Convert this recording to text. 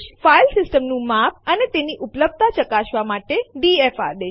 file system નું માપ અને તેની ઉપલબ્ધતા ચકાસવા માટે ડીએફ આદેશ